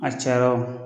A cayara wo